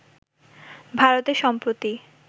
ভারতে সম্প্রতি